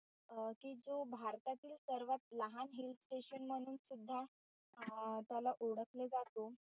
अं की जो भारतातील सर्वात लहान hill station म्हणून सुद्धा अं त्याला ओळखले जातो.